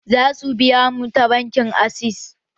Za su biya mu ta bankin access